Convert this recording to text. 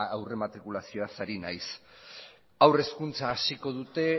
aurrematrikulazio ari naiz haur hezkuntza hasiko dute